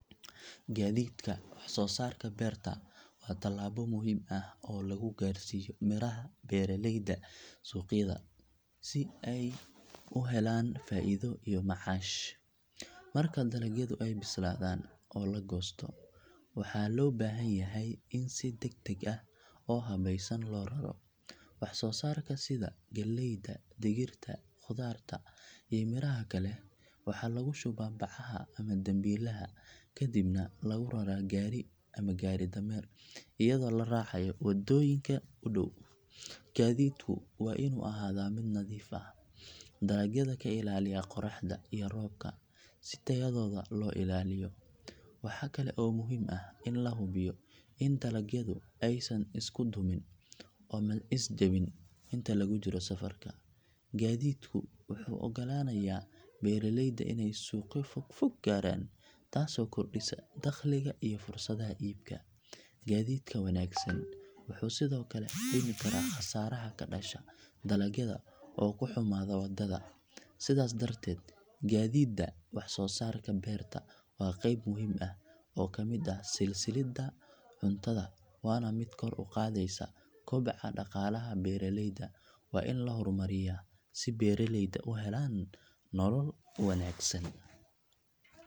Gaadiididda waxsoosaarka beerta waa tallaabo muhiim ah oo lagu gaarsiiyo miraha beeraleyda suuqyada si ay u helaan faa’iido iyo macaash. Marka dalagyadu ay bislaadaan oo la goosto, waxaa loo baahan yahay in si degdeg ah oo habaysan loo raro. Waxsoosaarka sida galleyda, digirta, khudaarta iyo miraha kale waxaa lagu shubaa bacaha ama dambiilaha kadibna lagu raraa gaari ama gaari dameer iyadoo la raacayo waddooyinka u dhow. Gaadiidku waa inuu ahaadaa mid nadiif ah, dalagyada ka ilaaliya qorraxda iyo roobka si tayadooda loo ilaaliyo. Waxa kale oo muhiim ah in la hubiyo in dalagyadu aysan isku dumin ama is jabin inta lagu jiro safarka. Gaadiidku wuxuu u ogolaanayaa beeraleyda inay suuqyo fogfog gaaraan taasoo kordhisa dakhliga iyo fursadaha iibka. Gaadiidka wanaagsan wuxuu sidoo kale dhimi karaa khasaaraha ka dhasha dalagyada oo ku xumaada waddada. Sidaas darteed gaadiididda waxsoosaarka beerta waa qayb muhiim ah oo ka mid ah silsiladda cuntada waana mid kor u qaadaysa koboca dhaqaalaha beeraleyda. Waa in la horumariyaa si beeraleydu u helaan nolol wanaagsan.